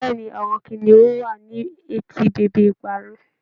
Bẹẹni, Awọn kiniun wa ni eti bebe ìparun.